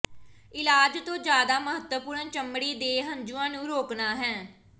ਇਲਾਜ ਤੋਂ ਜ਼ਿਆਦਾ ਮਹੱਤਵਪੂਰਨ ਚਮੜੀ ਦੇ ਹੰਝੂਆਂ ਨੂੰ ਰੋਕਣਾ ਹੈ